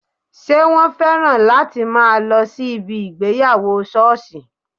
Ṣé wọn féràn láti máa lọ sí ibi ìgbéyàwó sọ́ọ̀sì?